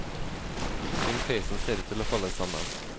Synd peisen ser ut til å falle sammen.